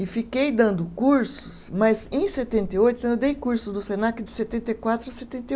e fiquei dando cursos, mas em setenta e oito, eu dei cursos do Senac de setenta e quatro a setenta e